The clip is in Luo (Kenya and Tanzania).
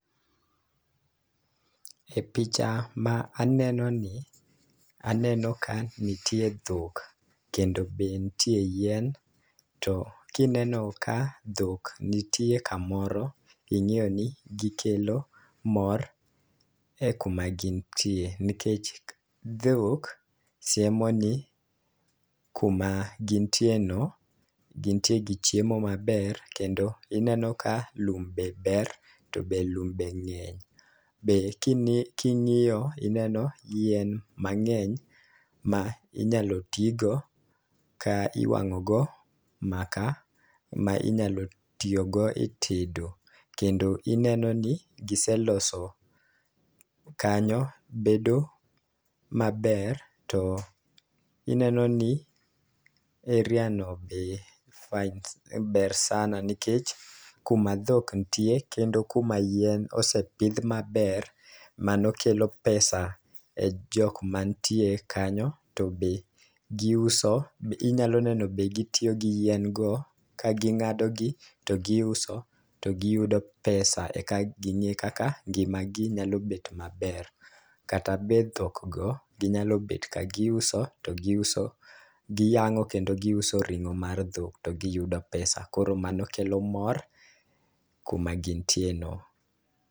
E picha ma aneno ni, aneno ka nitie dhok kendo be ntie yien. To kineno ka dhok nitie kamoro, ing'eyo ni gikelo mor e kuma gintie. Nikech dhok siemo ni kuma gintie no, gin tie gi chiemo maber. Kendo ineno ka lum be ber, to be lum be ng'eny. Be king'iyo ineno yien mang'eny ma inyalo tigo ka iwang'o go maka ma inyalo tiyo go e tedo. Kendo ineno ni gise loso kanyo bedo maber, to ineno ni area no be fines, ber sana. Nikech kuma dhok nitie kendo kuma yien osepidh maber, mano kelo pesa e jok mantie kanyo. To be giuso, inyalo neno be gitiyo gi yien go ka ging'ado gi to gi uso to giyudo pesa eka ging'e ka ngima gi nyalo bet maber. Kata be dhok go, ginyalo bet ka giuso to giuso. Giyang'o kendo giuso ring'o mar dhok to giyudo pesa, koro mano kelo mor kuma gintie no.